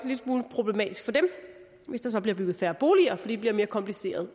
lille smule problematisk for dem hvis der så bliver bygget færre boliger fordi det bliver mere kompliceret